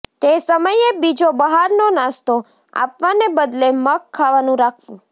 તે સમયે બીજો બહારનો નાસ્તો આપવાને બદલે મગ ખાવાનું રાખવું